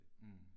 Mh